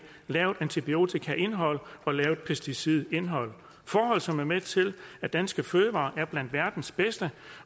lavt antibiotikaindhold og lavt pesticidindhold forhold som er med til at danske fødevarer er blandt verdens bedste